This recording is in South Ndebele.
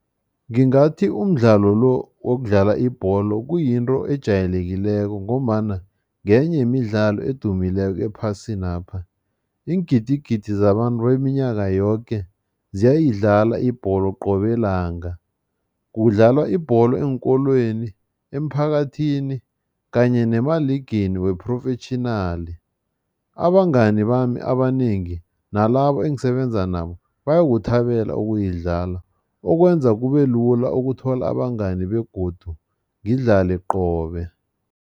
Ngingathi umdlalo lo wokudlala ibholo kuyinto ejayelekileko ngombana ngenye yemidlalo edumileko ephasinapha. Iingidigidi zabantu beminyaka yoke ziyayidlala ibholo qobe langa. Kudlalwa ibholo eenkolweni, emphakathini kanye nemaligini we-professional. Abangani bami abanengi nalabo engisebenzisa nabo, bayakuthabela ukuyidlala, okwenza kubelula ukuthola abangani begodu ngidlale qobe.